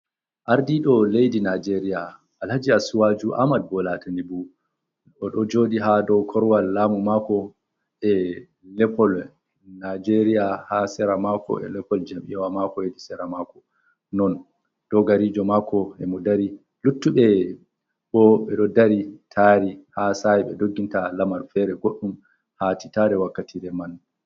Ardiɗo ledi najeriya alhaji asuwaju ahmad bola tinibu o ɗo joɗi ha do korwal lamu mako e lepol najeriya ha sera mako e lepol jam'ia wa mako hedi sera mako non dogarijo mako ema do dari, luttuɓe bo ɗo dari tari ha sai ɓe dogginta lamar fere goɗɗum hati tare wakkatire man.